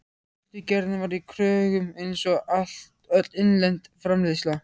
Sultugerðin var í kröggum einsog öll innlend framleiðsla.